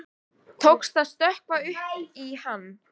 Tókst að stökkva upp í hann.